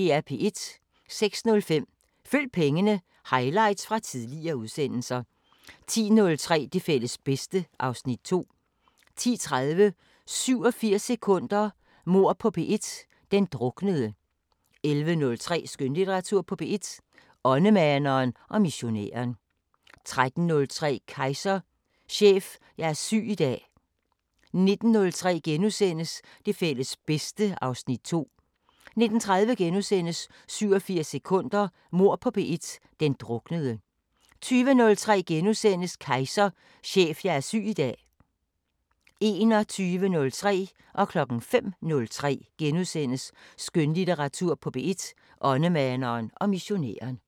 06:05: Følg pengene: Highlights fra tidligere udsendelser 10:03: Det fælles bedste (Afs. 2) 10:30: 87 sekunder – Mord på P1: Den druknede 11:03: Skønlitteratur på P1: Åndemaneren og missionæren 13:03: Kejser: Chef, jeg er syg i dag 19:03: Det fælles bedste (Afs. 2)* 19:30: 87 sekunder – Mord på P1: Den druknede * 20:03: Kejser: Chef, jeg er syg i dag * 21:03: Skønlitteratur på P1: Åndemaneren og missionæren * 05:03: Skønlitteratur på P1: Åndemaneren og missionæren *